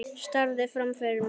Starði fram fyrir mig.